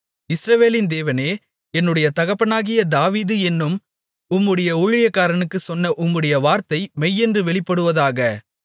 இஸ்ரவேலின் தேவனே என்னுடைய தகப்பனாகிய தாவீது என்னும் உம்முடைய ஊழியக்காரனுக்குச் சொன்ன உம்முடைய வார்த்தை மெய்யென்று வெளிப்படுவதாக